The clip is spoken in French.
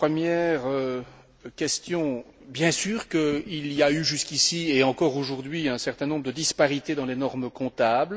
À la première question bien sûr il y a eu, jusqu'ici et encore aujourd'hui, un certain nombre de disparités dans les normes comptables.